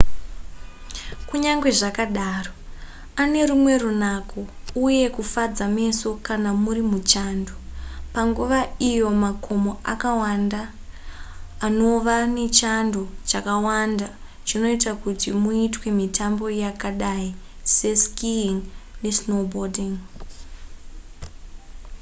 kunyange zvakadaro ane rumwe runako uye kufadza meso kana muri muchando panguva iyo makomo akawanda anova nechando chakawanda chinoita kuti muitwe mitambo yakadai seskiing nesnowboarding